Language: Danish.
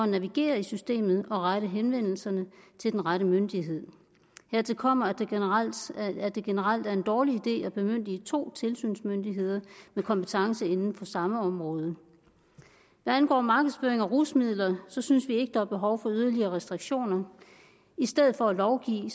navigere i systemet og rette henvendelse til den rette myndighed hertil kommer at det generelt er en dårlig idé at bemyndige to tilsynsmyndigheder med kompetence inden for samme område hvad angår markedsføring af rusmidler synes vi ikke der er behov for yderligere restriktioner i stedet for at lovgive